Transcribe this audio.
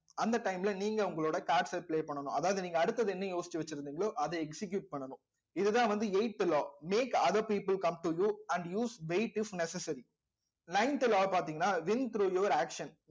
அந்த time ல நீங்க உங்களோட cards அ play பண்ணணும் அதாவது நீங்க அடுத்தது என்ன யோசிச்சு வச்சிருந்தீங்களோ அதை execute பண்ணணும் இதுதான் வந்து eighth law make other people come to you and use wait if necessary ninth law பாத்தீங்கன்னா win through your action